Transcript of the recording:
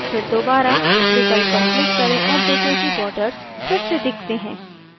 फिर दोबारा विकल्प पर क्लिक करें और देखें कि borders फिर से दिखते हैं